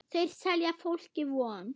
Þeir selja fólki von.